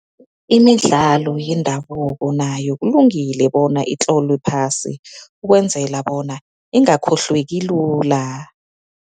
Imidlalo yendabuko nayo kulungile bona itlolwe phasi, ukwenzela bona ingakhohlweki lula.